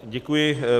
Děkuji.